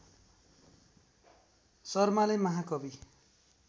शर्माले महाकवि